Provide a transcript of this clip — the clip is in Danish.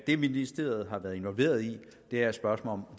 det ministeriet har været involveret i er spørgsmålet